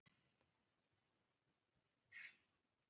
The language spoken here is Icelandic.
Oft þarf mjög lítið magn efnisins til að valda sjúkdómseinkennum.